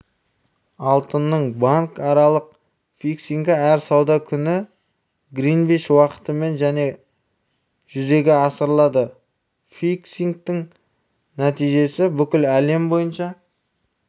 алтынның банкаралық фиксингі әр сауда күні гринвич уақытымен және жүзеге асырылады фиксингтің нәтижесі бүкіл әлем бойынша